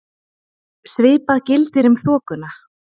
Svipað gildir um þokuna.